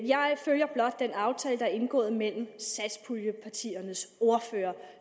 jeg følger blot den aftale der er indgået mellem satspuljepartiernes ordførere